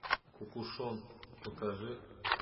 кукушон покажи